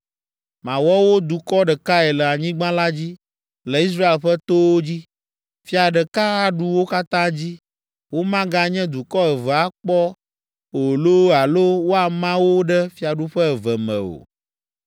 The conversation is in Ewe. Mawɔ wo dukɔ ɖekae le anyigba la dzi, le Israel ƒe towo dzi. Fia ɖeka aɖu wo katã dzi, womaganye dukɔ eve akpɔ o loo alo woama wo ɖe fiaɖuƒe eve me o.